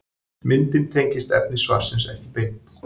Myndin tengist efni svarsins ekki beint.